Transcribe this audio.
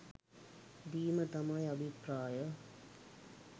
දීම තමයි අභිප්‍රාය